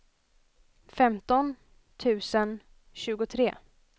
femton tusen tjugotre